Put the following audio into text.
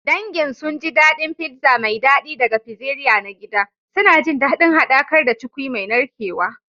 Dangin sun ji daɗin pizza mai daɗi daga pizzeria na gida, suna jin daɗin haɗakar da cukwi mai narkewa.